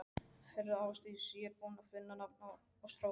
Heyrðu Ásdís, ég er búinn að finna nafn á strákinn.